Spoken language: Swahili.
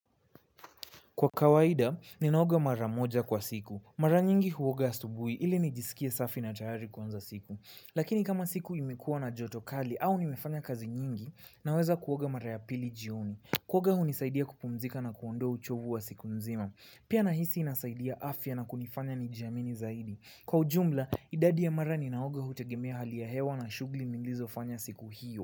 Kwa kawaida, ninaoga mara moja kwa siku. Mara nyingi huoga astubui ili nijisikie safi na tayari kuanza siku. Lakini kama siku imekua na joto kali au nimefanya kazi nyingi, naweza kuoga mara ya pili jioni. Kuoga hunisaidia kupumzika na kuondoa uchovu wa siku nzima. Pia nahisi inasaidia afya na kunifanya nijiamini zaidi. Kwa ujumula idadi ya mara ninaoga hutegemea hali ya hewa shughuli nilizofanya siku hiyo.